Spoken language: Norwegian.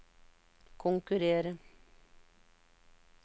konkurrere